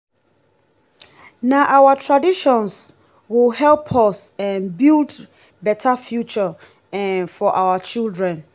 na our traditions go help us um build beta future um for our children.